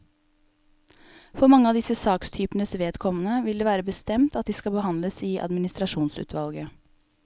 For mange av disse sakstypenes vedkommende vil det være bestemt at de skal behandles i administrasjonsutvalget.